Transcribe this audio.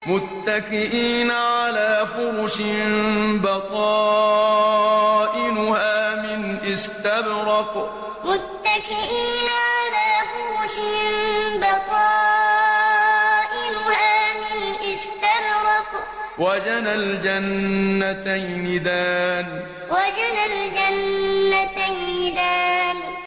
مُتَّكِئِينَ عَلَىٰ فُرُشٍ بَطَائِنُهَا مِنْ إِسْتَبْرَقٍ ۚ وَجَنَى الْجَنَّتَيْنِ دَانٍ مُتَّكِئِينَ عَلَىٰ فُرُشٍ بَطَائِنُهَا مِنْ إِسْتَبْرَقٍ ۚ وَجَنَى الْجَنَّتَيْنِ دَانٍ